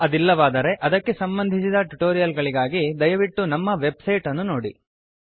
ಅದಿಲ್ಲವಾದರೆ ಅದಕ್ಕೆ ಸಂಬಂಧಿಸಿದ ಟ್ಯುಟೋರಿಯಲ್ ಗಳಿಗಾಗಿ ದಯವಿಟ್ಟು ನಮ್ಮ ವೆಬ್ಸೈಟ್ ಅನ್ನು ನೋಡಿ